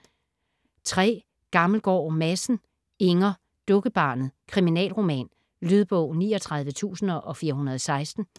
Gammelgaard Madsen, Inger: Dukkebarnet: kriminalroman Lydbog 39416